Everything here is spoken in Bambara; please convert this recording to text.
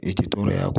I tɛ to dɔ la